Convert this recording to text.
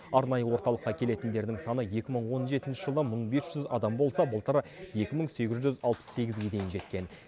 арнайы орталыққа келетіндердің саны екі мың он жетінші жылы мың бес жүз адам болса былтыр екі мың сегіз жүз алпыс сегізге дейін жеткен